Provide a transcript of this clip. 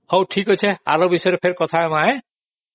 ହଉ ଠିକ ଅଛି ଆର ବିଷୟରେ ପୁଣି କଥା ହବା